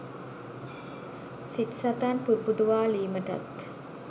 සිත් සතන් පුබුදුවාලීමටත්